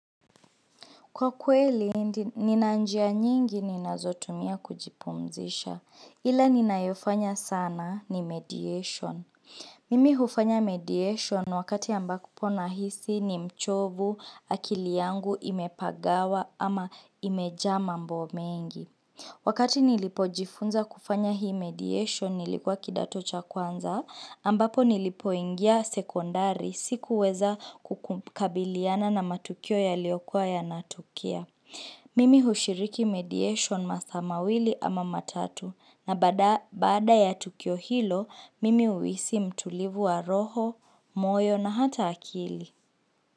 Kwa kweli, nina njia nyingi ninazotumia kujipumzisha. Ila ninayofanya sana ni mediation. Mimi hufanya mediation wakati ambapo nahisi ni mchovu, akili yangu imepagawa ama imejaa mambo mengi. Wakati nilipojifunza kufanya hii mediation nilikuwa kidato cha kwanza ambapo nilipoingia sekondari. Sikuweza kukabiliana na matukio yaliokuwa yanatukia Mimi ushiriki mediation masaa mawili ama matatu na baada ya tukio hilo, mimi uhisi mtulivu wa roho, moyo na hata akili.